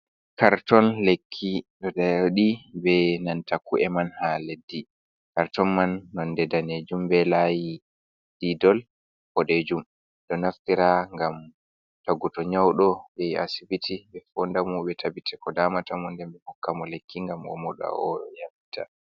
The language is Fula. Karton lekki adi be nanta ku’e man ha leddi. Karton man nonde daneejum be layi didol boɗejum. Be ɗo naftira gam tagolu to nyaudo be asibiti. Be fondamo be tabite ko damatamo ɗen be hukkamo lekki ngam omoda oyambita.